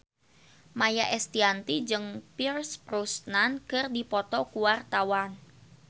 Maia Estianty jeung Pierce Brosnan keur dipoto ku wartawan